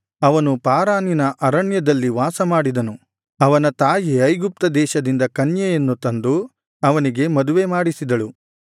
ಅವನು ಪಾರಾನಿನ ಅರಣ್ಯದಲ್ಲಿ ವಾಸ ಮಾಡಿದನು ಅವನ ತಾಯಿ ಐಗುಪ್ತ ದೇಶದಿಂದ ಕನ್ಯೆಯನ್ನು ತಂದು ಅವನಿಗೆ ಮದುವೆ ಮಾಡಿಸಿದಳು